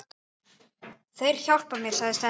Þeir hjálpa mér, segir Stella.